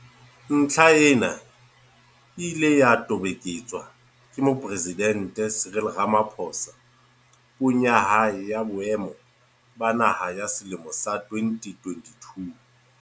Ntlha ena e ile ya toboketswa ke Mopresidente Cyril Rama phosa Puong ya hae ya Boemo ba Naha ya selemo sa 2022.